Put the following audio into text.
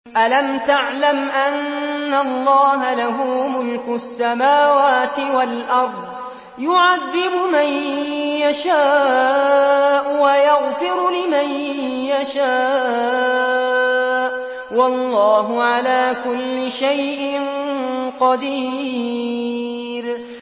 أَلَمْ تَعْلَمْ أَنَّ اللَّهَ لَهُ مُلْكُ السَّمَاوَاتِ وَالْأَرْضِ يُعَذِّبُ مَن يَشَاءُ وَيَغْفِرُ لِمَن يَشَاءُ ۗ وَاللَّهُ عَلَىٰ كُلِّ شَيْءٍ قَدِيرٌ